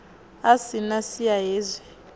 a si na siya hezwi